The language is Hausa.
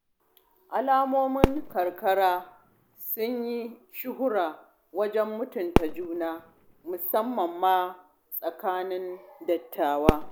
Al'ummomin karkara sun yi shuhura wajen mutunta juna, musammam ma a tsakanin dattawa.